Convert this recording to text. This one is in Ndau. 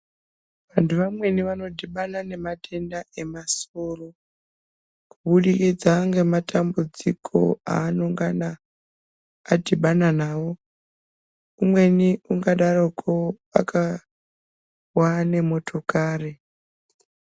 Vantu vamweni vano dhibana ne matenda e masoro ku budikidza nge matambudziko anongana adhibana nawo umweni unga daroko akawa ne motokari.